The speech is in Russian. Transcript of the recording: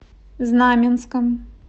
знаменском